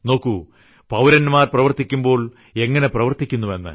നോക്കൂ പൌരന്മാർ പ്രവർത്തിക്കുമ്പോൾ എങ്ങിനെ പ്രവർത്തിക്കുന്നു എന്ന്